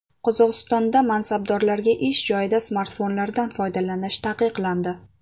Qozog‘istonda mansabdorlarga ish joyida smartfonlardan foydalanish taqiqlandi.